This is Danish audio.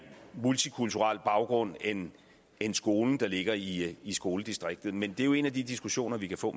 multikulturel baggrund end end skolen der ligger i i skoledistriktet men det er jo en af de diskussioner vi kan få